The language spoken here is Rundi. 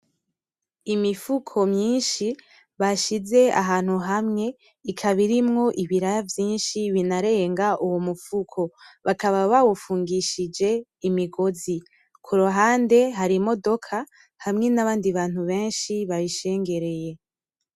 Imifuko myinshi bashize ahantu hamwe ikaba irimwo ibiraya vyinshi binarenga uwo mufuko. Bakaba bawufungishije imigozi. Kuruhande hari imidoka hamwe n’abandi bantu benshi bayishengereye.